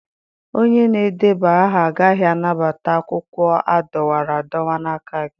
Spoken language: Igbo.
Onye na-edeba aha agaghị anabata akwụkwọ a dọwara adọwa n'aka gị.